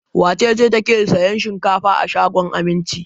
Wace ce take sayan shinkafa a shagon Aminci?